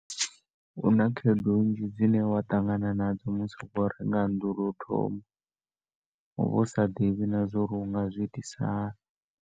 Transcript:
Hu na khaedo nzhi dzine wa ṱangana na dzo musi u tshi khou renga nnḓu lwa u thoma, wa vha u sa ḓivhi na zwa uri u nga zwi itisa hani.